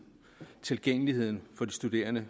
tilgængeligheden for de studerende